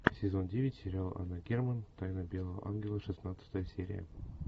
сезон девять сериал анна герман тайна белого ангела шестнадцатая серия